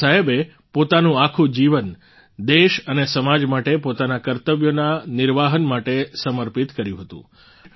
બાબા સાહેબે પોતાનું આખું જીવન દેશ અને સમાજ માટે પોતાના કર્તવ્યોના નિર્વહન માટે સમર્પિત કર્યું હતું